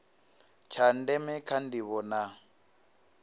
tsha ndeme kha ndivho na